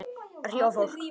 Að hrífa fólk.